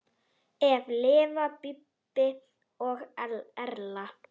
Eftir lifa Bíbí og Erla.